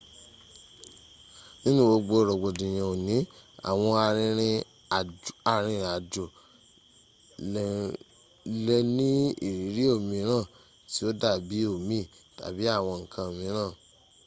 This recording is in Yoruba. nínú gbogbo rògbòdìyàn òní àwọn arìnrìn àjò lè ní ìrírí òmìrán tí ó dábí omi tàbí àwọn ǹkan míràn